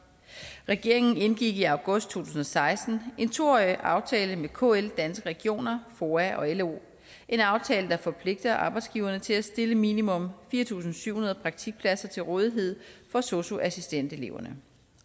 regeringen indgik i august to tusind og seksten en to årig aftale med kl danske regioner foa og lo en aftale der forpligter arbejdsgiverne til at stille minimum fire tusind syv hundrede praktikpladser til rådighed for sosu assistenteleverne